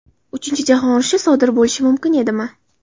Uchinchi jahon urushi sodir bo‘lishi mumkin edimi?